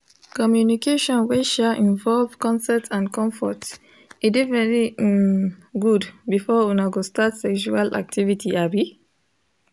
communication wey um involve consent and comfort e de very um good before una go start sextual activity um